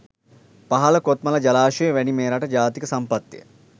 පහළ කොත්මලා ජලාශය වැනි මෙරට ජාතික සම්පත්ය.